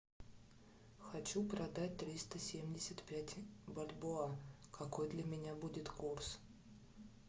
хочу продать триста семьдесят пять бальбоа какой для меня будет курс